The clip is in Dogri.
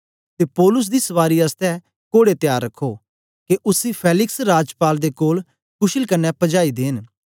ते पौलुस दी सवारी आसतै घोड़े त्यार रखो के उसी फेलिक्स राजपाल दे कोल कुशल कन्ने पजाई देंन